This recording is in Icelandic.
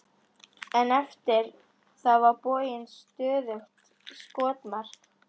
En eftir það var borgin stöðugt skotmark.